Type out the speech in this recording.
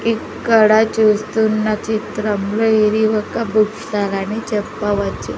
ఇక్కడ చూస్తున్న చిత్రంలో ఇది ఒక బుక్ స్టాల్ అని చెప్పవచ్చు.